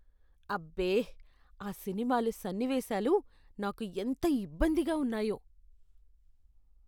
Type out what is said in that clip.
అబ్బే! ఆ సినిమాలో సన్నివేశాలు నాకు ఎంత ఇబ్బందిగా ఉన్నాయో.